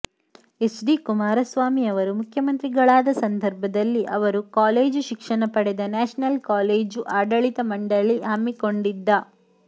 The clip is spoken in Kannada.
ಹೆಚ್ ಡಿ ಕುಮಾರಸ್ವಾಮಿ ಅವರು ಮುಖ್ಯಮಂತ್ರಿಗಳಾದ ಸಂದರ್ಭದಲ್ಲಿ ಅವರು ಕಾಲೇಜು ಶಿಕ್ಷಣ ಪಡೆದ ನ್ಯಾಷನಲ್ ಕಾಲೇಜು ಆಡಳಿತ ಮಂಡಳಿ ಹಮ್ಮಿಕೊಂಡಿದ್ದ